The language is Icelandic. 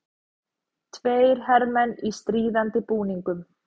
Tveir hermenn í stríðandi búningum.